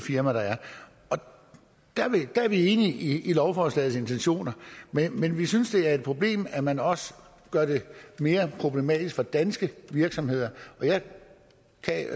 firma der er der er vi enige i lovforslagets intentioner men vi synes det er et problem at man også gør det mere problematisk for danske virksomheder